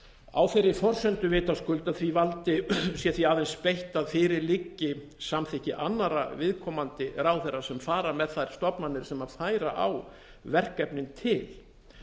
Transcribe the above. á þeirri forsendu vitaskuld að því valdi sé því aðeins beitt að fyrir liggi samþykki annarra viðkomandi ráðherra sem fara með þær stofnanir sem færa á verkefnin til